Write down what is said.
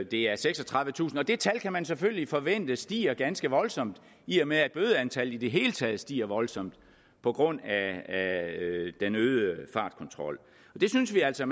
det er seksogtredivetusind og det tal kan man selvfølgelig forvente stiger ganske voldsomt i og med at bødeantallet i det hele taget stiger voldsomt på grund af den øgede fartkontrol det synes vi altså